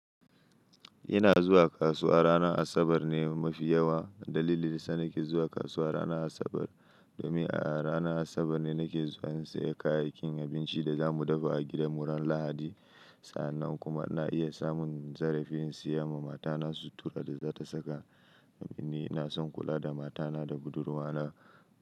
Ina zuwa kasuwa ranar Asabar ne mafi yawa. Dalilin dayasa nake zuwa kasuwa ranar Asabar, domin a ranar Asabar ne nake zuwa in sayi kayayyakin abinci da za mu dafa a gidanmu ran Lahadi. Sa'annan kuma ina iya samun zarafin in siya ma mata na sutura da za ta saka. Domin ni ina son kula da mata na da budurwa na.